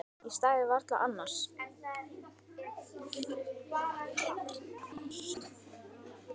Ég stæði varla hérna annars.